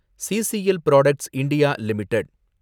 CCL products India limited